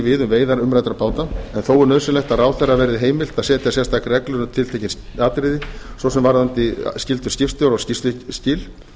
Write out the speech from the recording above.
við um veiðar umræddra báta en þó er nauðsynlegt að ráðherra verði heimilt að setja sérstakar reglur um tiltekin atriði svo sem varðandi skyldur skipstjóra og skýrsluskil